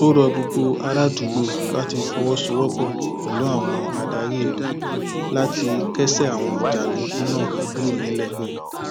ó rọ gbogbo àràádúgbò láti fọwọsowọpọ pẹlú àwọn adarí ìlú láti kẹsẹ àwọn jàǹdùkú náà kúrò nílẹ